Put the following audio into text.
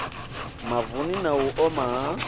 mavuni na u oma ha